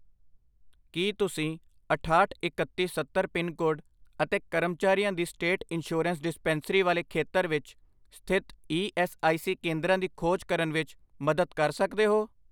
ਕੀ ਤੁਸੀਂ ਅਠਾਹਠ, ਇਕੱਤੀ, ਸੱਤਰ ਪਿੰਨਕੋਡ ਅਤੇ ਕਰਮਚਾਰੀਆਂ ਦੀ ਸਟੇਟ ਇੰਸ਼ਯੁਰੇਂਸ ਡਿਸਪੈਂਸਰੀ ਵਾਲੇ ਖੇਤਰ ਵਿੱਚ ਸਥਿਤ ਈ ਐੱਸ ਆਈ ਸੀ ਕੇਂਦਰਾਂ ਦੀ ਖੋਜ ਕਰਨ ਵਿੱਚ ਮਦਦ ਕਰ ਸਕਦੇ ਹੋ?